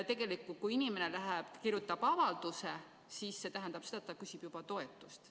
Tegelikult kui inimene läheb ja kirjutab avalduse, siis see tähendab seda, et ta küsib juba toetust.